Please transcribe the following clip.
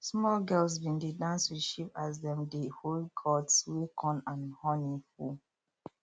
small girls been dey dance with sheep as dem dey hold gourds wey corn and honey full